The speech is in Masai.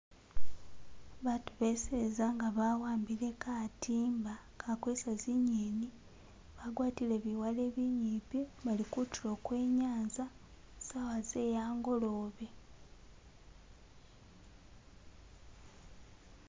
Baatu beseza nga bawambile katiimba akakweesa zinyeni, bagwatile biwale binyimpi, bali kutulo kwe nyanza saawa ze angolobe .